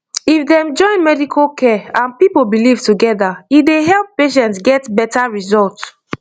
if dem join medical care and people belief together e dey help patients get better result